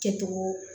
Kɛcogo